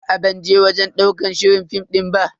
Aa ban je wajen ɗaukar shirin fim din ba.